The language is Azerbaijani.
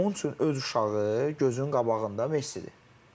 Onun üçün öz uşağı gözünün qabağında Messidir.